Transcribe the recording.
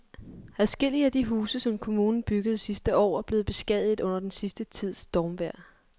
Adskillige af de huse, som kommunen byggede sidste år, er blevet beskadiget under den sidste tids stormvejr.